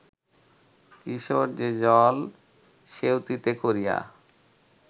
কিশোর সে-জল সেঁউতিতে করিয়া